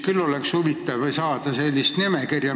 Mul oleks hea meel saada nende nimekirja.